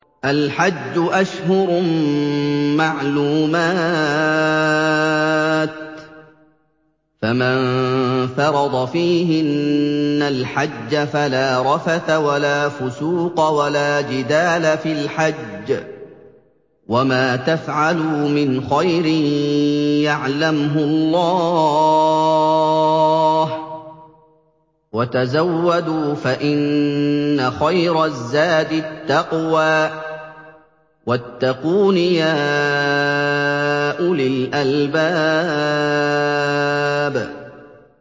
الْحَجُّ أَشْهُرٌ مَّعْلُومَاتٌ ۚ فَمَن فَرَضَ فِيهِنَّ الْحَجَّ فَلَا رَفَثَ وَلَا فُسُوقَ وَلَا جِدَالَ فِي الْحَجِّ ۗ وَمَا تَفْعَلُوا مِنْ خَيْرٍ يَعْلَمْهُ اللَّهُ ۗ وَتَزَوَّدُوا فَإِنَّ خَيْرَ الزَّادِ التَّقْوَىٰ ۚ وَاتَّقُونِ يَا أُولِي الْأَلْبَابِ